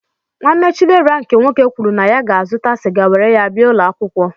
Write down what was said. Nwanne Chidera nke nwoke kwuru na ya ga-azụta sịga were ya bia ụlọakwụkwọ.